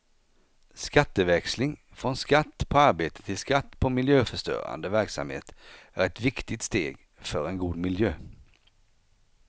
Skatteväxling, från skatt på arbete till skatt på miljöförstörande verksamhet, är ett viktigt steg för en god miljö.